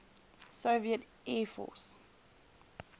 soviet air force